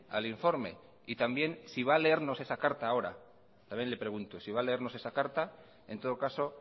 al informe y también si va a leernos esa carta ahora también le pregunto si va a leernos esa carta en todo caso